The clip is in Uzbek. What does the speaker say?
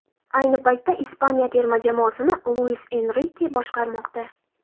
Ayni paytda Ispaniya terma jamoasini Luis Enrike boshqarmoqda.